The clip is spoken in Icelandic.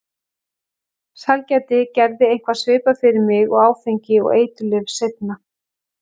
Sælgæti gerði eitthvað svipað fyrir mig og áfengi og eiturlyf seinna.